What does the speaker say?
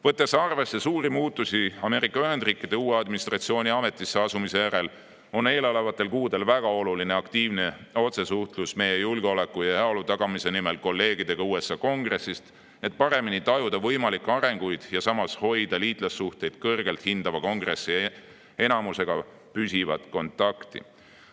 Võttes arvesse suuri muutusi Ameerika Ühendriikide uue administratsiooni ametisse asumise järel on eelolevatel kuudel väga oluline aktiivne otsesuhtlus meie julgeoleku ja heaolu tagamise nimel kolleegidega USA Kongressist, et paremini tajuda võimalikke arengusuundi ja samas hoida liitlassuhteid kõrgelt hindava Kongressi enamusega püsivat kontakti.